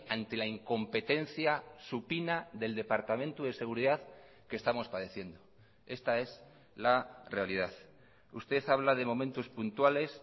ante la incompetencia supina del departamento de seguridad que estamos padeciendo esta es la realidad usted habla de momentos puntuales